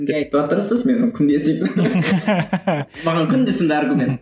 кімге айтыватырсыз мен күнде еститінім маған күнде сондай аргумент